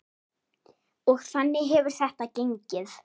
Og þannig hefur þetta gengið.